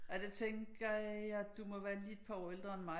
Ja det tænker jeg du må være lige et par år ældre end mig